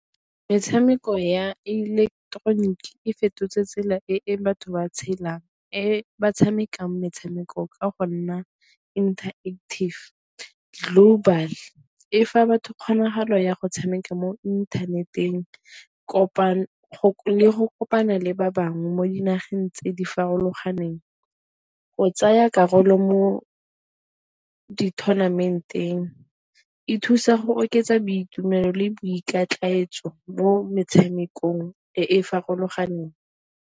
Metshameko ya ileketeroniki e fetotse tsela e batho ba tshelang, e ba tshamekang metshameko ka go nna interactive global. E fa batho kgonagalo ya go tshameka mo inthaneteng le go kopana le ba bangwe mo dinageng tse di farologaneng, go tsaya karolo mo di-tournament-eng, e thusa go oketsa boitumelo le boiketletso mo metshamekong e e farologaneng.